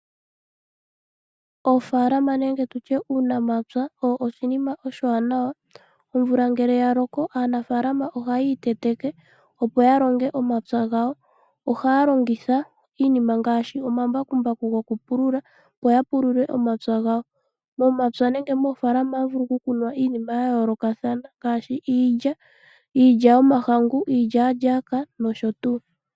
Oofalama nenge tutye uunamapya owo oshinima oshiwanawa ,omvula ngele ya loko aanafalama ohayii teteke opo ya longe omapya gawo ohaya longitha iinima ngaashi omambakumbaku goku pulula opo ya pulule omapya gawo momapya nenge moofalama ohamu vulu okukunwa iinima ya yoolokathana ngaashi iilya ,iilya yomahangu ,iilyaalyaka nosho tuu.